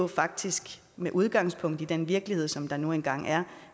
faktisk med udgangspunkt i den virkelighed som der nu engang er